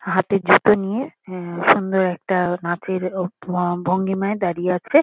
হাতে জুতো নিয়ে। এ- সুন্দর একটা নাচের ও ভ -ভঙ্গিমায় দাঁড়িয়ে আছে।